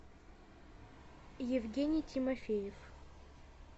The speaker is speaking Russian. евгений тимофеев